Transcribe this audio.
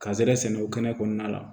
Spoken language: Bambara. Kazɛrɛn sɛnɛ o kɛnɛ kɔnɔna la